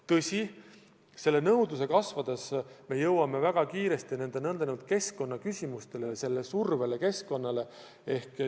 Tõsi, selle nõudluse kasvades me jõuame väga kiiresti keskkonnaküsimusteni, surveni keskkonnale.